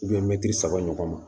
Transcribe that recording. mɛmitiri saba ɲɔgɔn ma